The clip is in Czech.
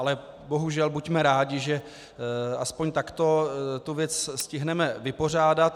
Ale bohužel buďme rádi, že aspoň takto tu věc stihneme vypořádat.